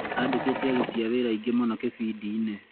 Andĩkĩte aruti a wĩra aingĩ mũno kĩbindi-inĩ